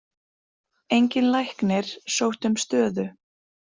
Enginn læknir sótti um stöðu